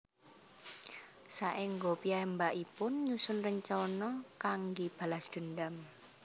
Saéngga piyambakipun nyusun rencana kanggé balas dendam